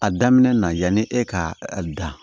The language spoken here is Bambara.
A daminɛ na yanni e ka a dan